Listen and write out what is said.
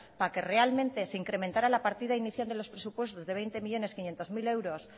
para que realmente se incrementara la partida inicial de los presupuestos de veinte millónes quinientos mil euros